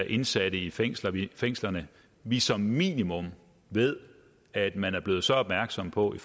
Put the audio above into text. indsatte i fængslerne i fængslerne vi som minimum ved at man er blevet så opmærksom på i